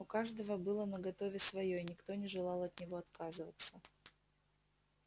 у каждого было наготове своё и никто не желал от него отказываться